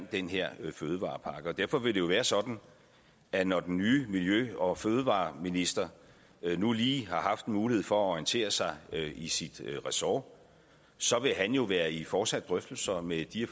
den her fødevarepakke derfor vil det jo være sådan at når den nye miljø og fødevareminister nu lige har haft en mulighed for at orientere sig i sit ressort så vil han jo være i fortsatte drøftelser med de